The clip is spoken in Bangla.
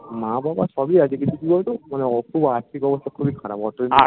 মা বাবা সবই আছে কিন্তু কি বলতো মানে আর্থিক অবস্থা খুবই খারাপ